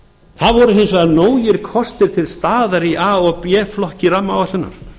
það voru hins vegar nógir kostir til staðar í a og b flokki rammaáætlunar